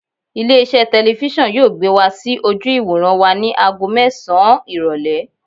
Ilé iṣẹ́ telifísàn yóò gbé wá sí ojú ìwòran wa ni ago mẹ́sàn-án ìrọ̀lẹ́.